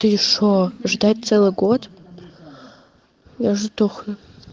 ты что ждать целый год я же сдохну